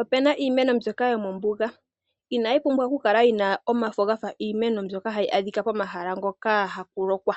Opena iimeno mbyoka yomombuga, inayi pumbwa oku kala yina omafo gafa giimeno mbyoka hayi adhika pomahala ngoka haku lukwa.